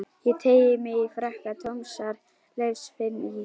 Ég teygi mig í frakka Tómasar Leifs, finn ís